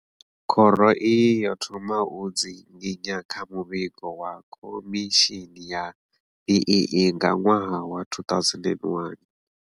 Khoro iyi yo thoma u dzinginya kha muvhigo wa khomishini ya BEE nga ṅwaha wa 2001.